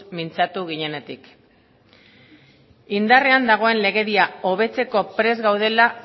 mintzatu ginenetik indarrean dagoen legedia hobetzeko prest gaudela